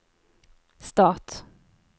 stat